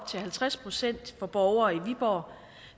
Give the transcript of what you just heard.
til halvtreds procent for borgere i viborg